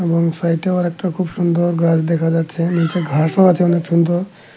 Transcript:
বোনসাইটেও আরেকটা খুব সুন্দর গাছ দেখা যাচ্ছে নীচে ঘাসও আছে অনেক সুন্দর।